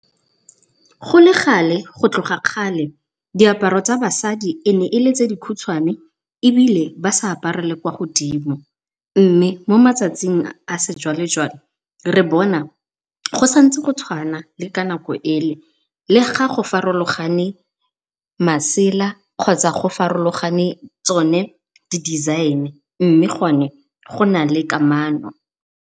Go le gale go tloga kgale diaparo tsa basadi e ne e le tse dikhutshwane ebile ba sa apare le kwa godimo, mme mo matsatsing a sejwale-jwale re bona go santse go tshwana le ka nako e le. Le ga go farologane masela kgotsa go farologane tsone di-design mme gone go nale kamano.